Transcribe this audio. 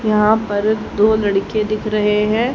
यहां पर दो लड़के दिख रहे हैं।